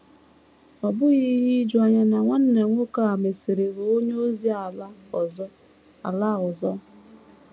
Ọ bụghị ihe ijuanya na nwanna nwoke a mesịrị ghọọ onye ozi ala ọzọ. ala ọzọ.